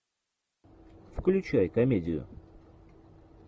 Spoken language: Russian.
включай комедию